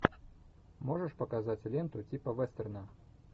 можешь показать ленту типа вестерна